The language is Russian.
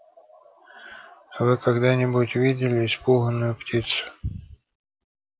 вы когда-нибудь видели испуганную птицу